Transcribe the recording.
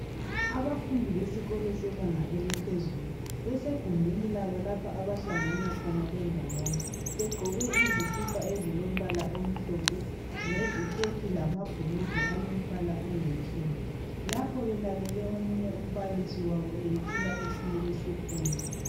Abafundi besikolo sebanga eliphezulu, besegumbini labo lapha abahlangana khona bendawonye begqoke izikipa ezilombala omhlophe leziketi lamabhurugwa alombala olithuli. Lapho belalele omunye umbalisi wabo eyethula esinye isifundo.